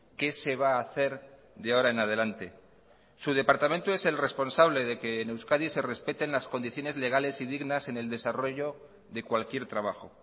qué se va a hacer de ahora en adelante su departamento es el responsable de que en euskadi se respeten las condiciones legales y dignas en el desarrollo de cualquier trabajo